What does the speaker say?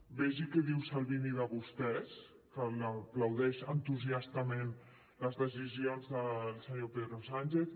vegin què diu salvini de vostès que aplaudeix entusiastament les decisions del senyor pedro sánchez